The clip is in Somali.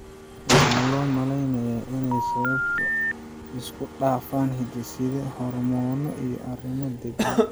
Waxaa loo malaynayaa inay sababto isku dhafan hidde-side, hormoonno, iyo arrimo deegaan.